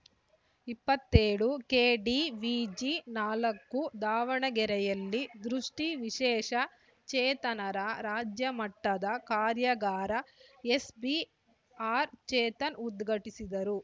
ಇಪ್ಪತ್ತೇಳು ಕೆಡಿವಿಜಿ ನಾಲ್ಕು ದಾವಣಗೆಯಲ್ಲಿ ದೃಷ್ಟಿವಿಶೇಷ ಚೇತನರ ರಾಜ್ಯ ಮಟ್ಟದ ಕಾರ್ಯಾಗಾರ ಎಸ್ಪಿ ಆರ್‌ಚೇತನ್‌ ಉದ್ಘಾಟಿಸಿದರು